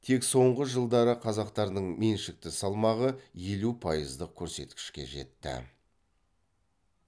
тек соңғы жылдары қазақтардың меншікті салмағы елу пайыздық көрсеткішке жетті